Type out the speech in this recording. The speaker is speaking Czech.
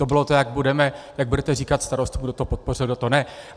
To bylo to, jak budete říkat starostům, kdo to podpořil a kdo ne.